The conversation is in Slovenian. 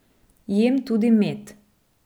Jem tudi med.